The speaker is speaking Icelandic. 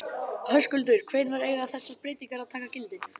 Höskuldur, hvenær eiga þessar breytingar að taka gildi?